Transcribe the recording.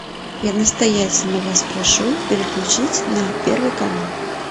я настоятельно вас прошу переключить на первый канал